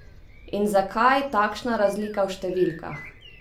In zakaj takšna razlika v številkah?